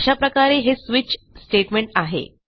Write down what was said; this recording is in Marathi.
अशा प्रकारे हे स्विच स्टेटमेंट आहे